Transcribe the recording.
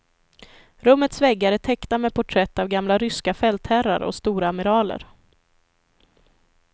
Rummets väggar är täckta med porträtt av gamla ryska fältherrar och storamiraler.